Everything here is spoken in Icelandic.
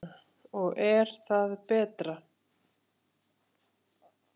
Og er það betra?